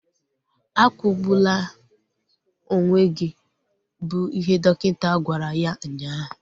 Akwụgbula onwe gị! Bụ ihe dọkịta gwara ya ụnyaahụ